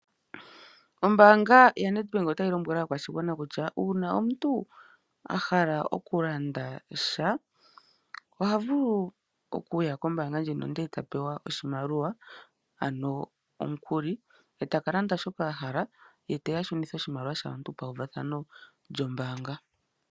Ombaanga ya Ned bank otayi tseyi thile aakwashigwana kutya ngele yahala okulanda ishinima otaya vulu okuewa oshimaliwa ko mbaanga eta ye shi gandja pama uvathano ngele waka mona oshimaliwa.